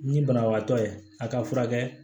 Ni banabagatɔ ye a ka furakɛ